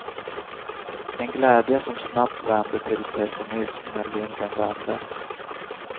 En glädje som snabbt vände till pessimism när vinden vände.